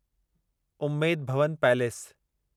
Umaid Bhawan palace